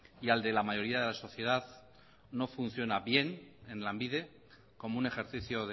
y al de la mayoría de la sociedad no funciona bien en lanbide como un ejercicio